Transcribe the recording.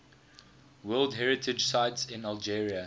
world heritage sites in algeria